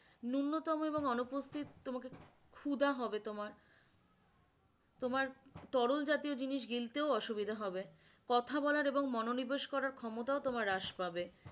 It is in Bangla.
ন্যূনতম এবং অনুপস্থিত তোমাকে খুদা হবে তোমার, তোমার তরল জাতীয় জিনিস গিলতেও অসুবিধা হবে, কথা বলার এবং মনো নিবেশ করার ক্ষমতাও তোমার হ্রাস পাবে।